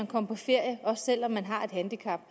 komme på ferie selv om man har et handicap